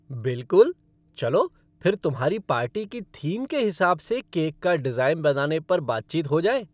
बिलकुल! चलो फिर तुम्हारी पार्टी की थीम के हिसाब से केक का डिज़ाइन बनाने पर बातचीत हो जाए।